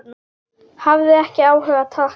Hafði ekki áhuga, takk.